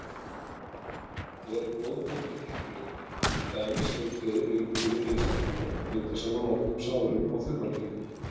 Er blóðblöndun hættuleg, til dæmis ef tveir heilbrigðir einstaklingar nudda saman opnum sárum á þumalfingrum?